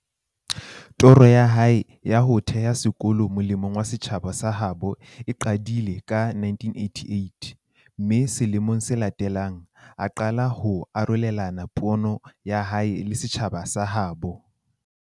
Toro ya hae ya ho theha sekolo mole mong wa setjhaba sa habo e qadile ka 1988, mme sele mong se latelang, a qala ho arolelana pono ya hae le setjhaba sa ha habo.